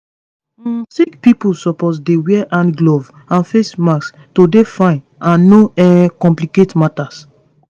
um sick pipo suppose dey wear hand gloves and face masks to dey fine and no um complicate matter